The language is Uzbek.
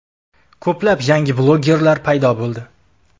Ko‘plab yangi blogerlar paydo bo‘ldi.